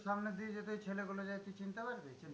সামনে দিয়ে যদি ওই ছেলেগুলো যায় তুই চিনতে পারবি?